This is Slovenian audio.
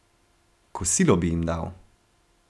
Kosilo bi jim dal.